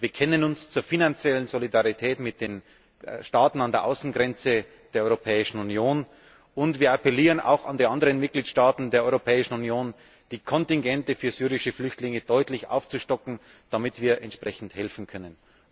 Wir bekennen uns zur finanziellen Solidarität mit den Staaten an der Außengrenze der Europäischen Union, und wir appellieren auch an die anderen Mitgliedstaaten der Europäischen Union, die Kontingente für syrische Flüchtlinge deutlich aufzustocken, damit wir entsprechend helfen können.